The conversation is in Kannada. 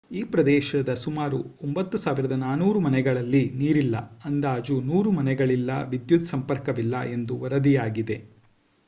ಈ ಪ್ರದೇಶದ ಸುಮಾರು 9400 ಮನೆಗಳಲ್ಲಿ ನೀರಿಲ್ಲ ಅಂದಾಜು 100 ಮನೆಗಳಿಲ್ಲ ವಿದ್ಯುತ್ ಸಂಪರ್ಕವಿಲ್ಲ ಎಂದು ವರದಿಯಾಗಿದೆ